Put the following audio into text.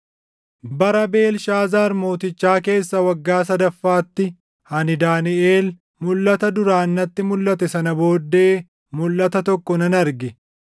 Bara Beelshaazaar mootichaa keessa waggaa sadaffaatti, ani Daaniʼel, mulʼata duraan natti mulʼate sana booddee mulʼata tokko nan arge.